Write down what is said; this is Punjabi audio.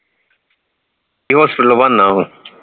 hospital ਬਣਨਾ ਹੁਣ